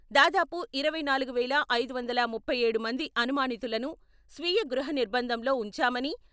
దాదాపు ఇరవై నాలుగు వేల ఐదు వందల ముప్పై ఏడు మంది అనుమానితులను స్వీయ గృహ నిర్భందంలో ఉంచామని..